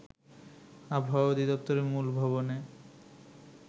আবহাওয়া অধিদপ্তরের মূল ভবনে